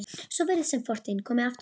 Svo virðist sem fortíðin komi aftur.